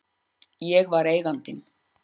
Ég var Eigandinn.